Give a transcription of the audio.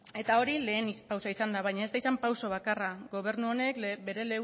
eta hori lehen pausua izan da baina ez da izan pausu bakarra gobernu honek bere